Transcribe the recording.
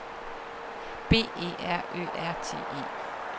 B E R Ø R T E